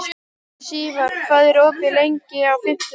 Sívar, hvað er opið lengi á fimmtudaginn?